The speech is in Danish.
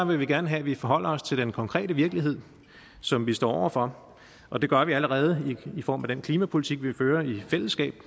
vi gerne have at vi forholder os til den konkrete virkelighed som vi står over for og det gør vi allerede i form af den klimapolitik vi fører i fællesskab